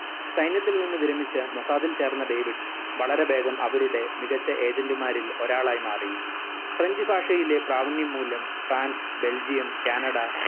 സൈന്യത്തിൽ നിന്ന് വിരമിച്ച മൊസാദിൽ ചേർന്ന ഡേവിഡ് വളരെ വേഗം അവരുടെ മികച്ച agent മാരിൽ ഒരാളായി മാറി french ഭാഷയിലെ പ്രാവണ്യം മൂലം ഫ്രാൻസ് ബെൽജിയം കാനഡ